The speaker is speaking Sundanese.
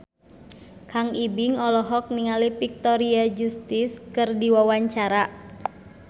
Kang Ibing olohok ningali Victoria Justice keur diwawancara